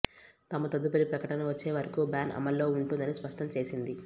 తమ తదుపరి ప్రకటన వచ్చే వరకు బ్యాన్ అమల్లో ఉంటుందని స్పష్టంచేసింది